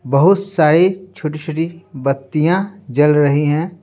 बहुत सारी छोटी-छोटी बत्तियां जल रही है।